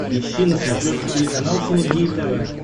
ищи на смотрешке телеканал синергия тв